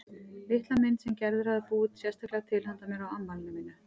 Litla mynd sem Gerður hafði búið sérstaklega til handa mér á afmælinu mínu.